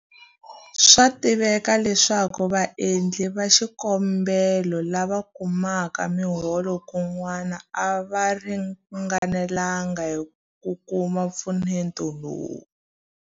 Swa tiveka leswaku vaendli va xikombelo lava kumaka miholo kun'wana a va ringanelanga hi ku kuma mpfuneto lowu.